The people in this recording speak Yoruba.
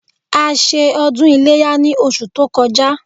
A ṣe ọdún iléyá ní oṣù tó kọjá